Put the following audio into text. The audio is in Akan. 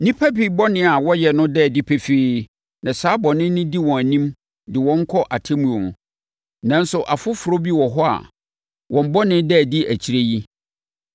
Nnipa bi bɔne a wɔyɛ no da adi pefee na saa bɔne no di wɔn anim de wɔn kɔ atemmuo mu, nanso afoforɔ bi wɔ hɔ a wɔn bɔne da adi akyire yi.